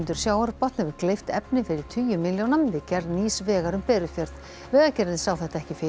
sjávarbotn hefur gleypt efni fyrir tugi milljóna við gerð nýs vegar um Berufjörð vegagerðin sá þetta ekki fyrir